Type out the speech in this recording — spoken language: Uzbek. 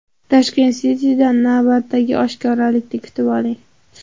Tashkent City’dan navbatdagi oshkoralikni kutib oling!